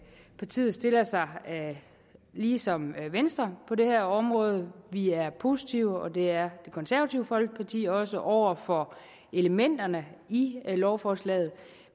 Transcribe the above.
partiet stiller sig ligesom venstre på det her område vi er positive og det er det konservative folkeparti også over for elementerne i lovforslaget